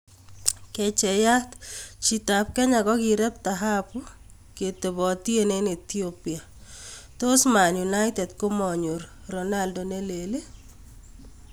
(Kecheiat) Chi ab Kenya kokirep tahabu ketobotien eng' Ethiopia 'Tos Man United komanyor 'Ronaldo ne lel'?